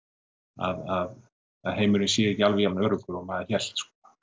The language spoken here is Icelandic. að heimurinn sé ekki alveg jafn öruggur og maður hélt